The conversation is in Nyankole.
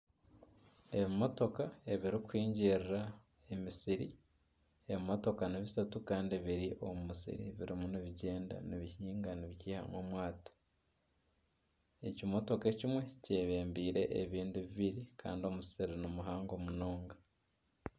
Ebimotoka ebirikuhingirira emisiri. Ebimotoka nibishatu kandi biri omu musiri birimu nibigyenda nibihinga nibiihamu omwata. Ekimotoka ekimwe ky'ebembeire ebindi bibiri kandi omusiri ni muhango munonga.